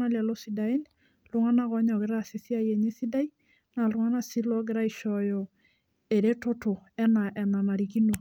nalelo sidain ltunganak logira aishooyo eretoto anaa enanarikino